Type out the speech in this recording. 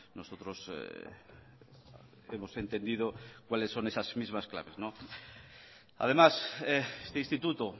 nosotros hemos entendido cuáles son esas mismas claves además este instituto